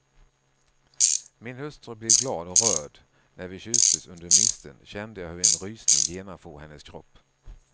Min hustru blev glad och rörd och när vi kysstes under misteln kände jag hur en rysning genomfor hennes kropp.